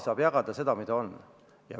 Saab jagada seda raha, mida on.